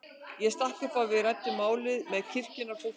Ég stakk upp á að við ræddum málið með kirkjunnar fólki.